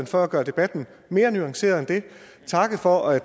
for at gøre debatten mere nuanceret og takke for at